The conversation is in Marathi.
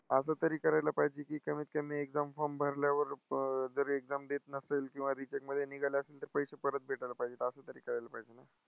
असं तरी करायला पाहिजे की कमीतकमी exam form भरल्यावर जर exam देत नसेल किंवा recheck मध्ये निघाला असेल तर पैसे परत भेटायला पाहिजेत असं तरी करायला पाहिजे ना?